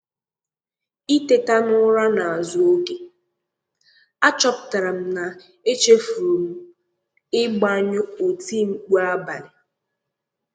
Ìtèta n’ụra n’azụ oge, àchọpụtara m na echefuru m ịgbanyụ otimkpu abalị.